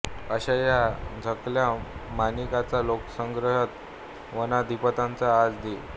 अशा या झाकल्या माणिकाचा लोकसंग्रहीचा वनाधिपतीचा आज दि